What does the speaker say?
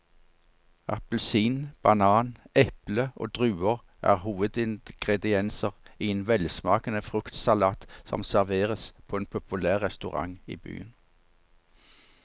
Appelsin, banan, eple og druer er hovedingredienser i en velsmakende fruktsalat som serveres på en populær restaurant i byen.